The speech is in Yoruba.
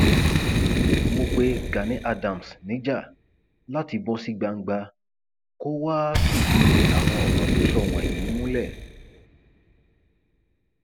mo pẹ gani adams níjà láti bọ sí gbangba kó wàá fìdí àwọn ọrọ tó sọ wọnyí múlẹ